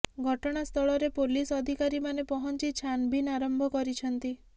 ଘଟଣା ସ୍ଥଳରେ ପୋଲିସ ଅଧିକାରୀମାନେ ପହଞ୍ଚି ଛାନଭିନ୍ ଆରମ୍ଭ କରିଛନ୍ତି